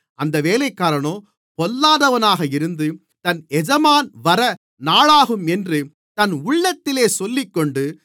அந்த வேலைக்காரனோ பொல்லாதவனாக இருந்து என் எஜமான் வர நாளாகும் என்று தன் உள்ளத்திலே சொல்லிக்கொண்டு